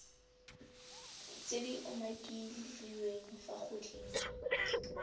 tse di umakiliweng fa godimo